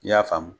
I y'a faamu